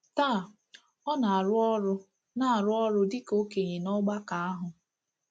Taa, ọ na-arụ ọrụ na-arụ ọrụ dịka okenye n’ọgbakọ ahụ.